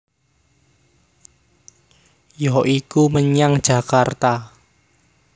Ya iku menyang Jakarta